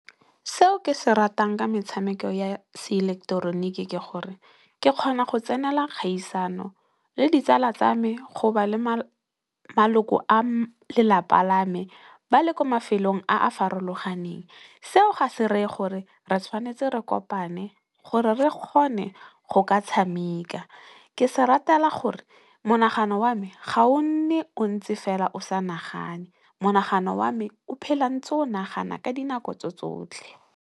Seo ke se ratang ka metshameko ya se ileketeroniki ke gore ke kgona go tsenela kgaisano le ditsala tsa me, go ba le maloko a lelapa la me ba le kwa mafelong a a farologaneng seo ga se reye gore re tshwanetse re kopane gore re kgone go ka tshameka. Ke se ratela gore monagano wa me ga o nne o ntse fela o sa nagane, monagano wa me o phela ntse o nagana ka dinako tse tsotlhe.